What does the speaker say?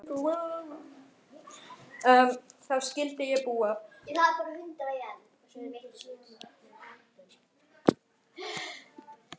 Þar skyldi ég búa.